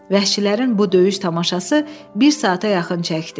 Vəhşilərin bu döyüş tamaşası bir saata yaxın çəkdi.